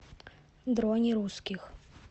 дроне русских